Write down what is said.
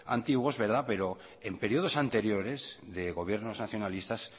antiguos pero en periodos anteriores de gobiernos nacionalistas